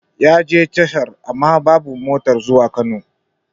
Yaje tashar amma babu motar zuwa Kano